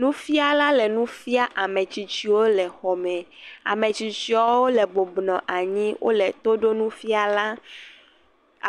Nufiala le nu fiam ame tsitsiwo le xɔ me, ametsitsiwo le bɔbɔnɔ anyi le to ɖom nufiala,